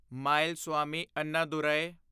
Mylswamy Annadurai